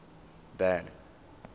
van